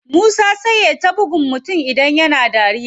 Musa sai yai ta buggun mutum idan yana dariya.